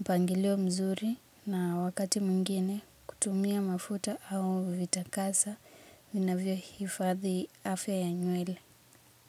mpangilio mzuri na wakati mwingine kutumia mafuta au vitakasa vinavyohifadhi afya ya nywele.